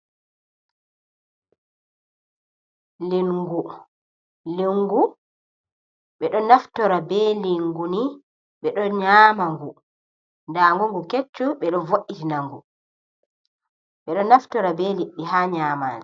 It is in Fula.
"Lingu" lingu ɓeɗo naftora be lingu ni beɗo nyama ngu, ndangu ngu kecchum ɓeɗo vo'itina ngu, ɓeɗo naftora be liɗɗi ha nyaman.